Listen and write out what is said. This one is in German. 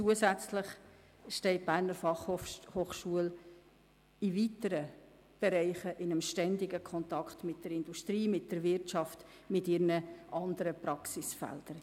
Zusätzlich steht die BFH in vielen Bereichen in ständigem Kontakt mit der Industrie und der Wirtschaft und den anderen Praxisfeldern.